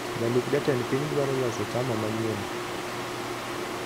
Jalup jatend piny dwaro loso chama manyien